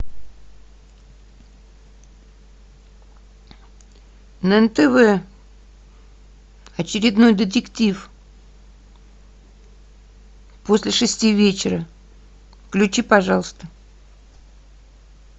на нтв очередной детектив после шести вечера включи пожалуйста